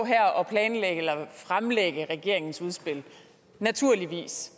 her og fremlægge regeringens udspil naturligvis